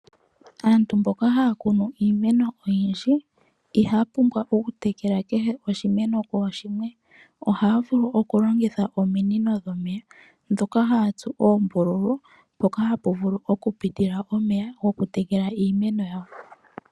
Aantu mboka haya kunu iimeno oyindji ihaya pumbwa okutekela kehe oshimeno kooshimwe. Ohaya vulu okulongitha ominino dhomeya ndhoka haya tsu oombululu mpoka hapu vulu okupita omeya gokutekela iimeno yawo.